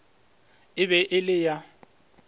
e be e le ya